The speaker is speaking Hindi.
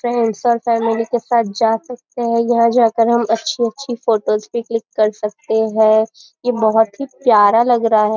चाहे फॅमिली के साथ जा सकते हैं यह यहाँ जाकर हम अच्छी अच्छी फ़ोटो भी क्लिक कर सकते हैं यह बहुत ही प्यारा लग रहा है।